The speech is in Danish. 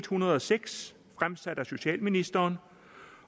hundrede og seks fremsat af socialministeren